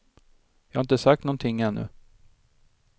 Jag har inte sagt någonting ännu.